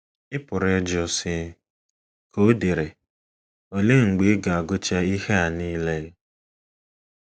“ Ị pụrụ ịjụ, sị, ” ka o dere, “‘ Olee mgbe ị ga - agụcha ihe a nile? ’”